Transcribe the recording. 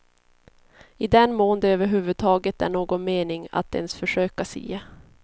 I den mån det över huvud taget är någon mening att ens försöka sia.